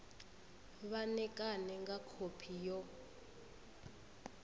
vha ṋekane nga khophi yo